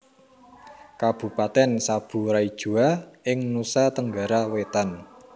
Kabupatèn Sabu Raijua ing Nusa Tenggara Wétan